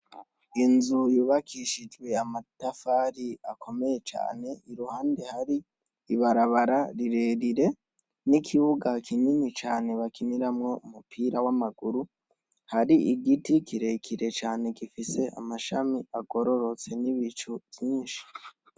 inzu yubakishijwe amatafari akomeye cane iruhande hari ibarabara rirerire n'ikibuga kinini cane bakiniramwo umupira w'amaguru hari igiti kirekire cane gifise amashami agororotse n'ibicu vyinshi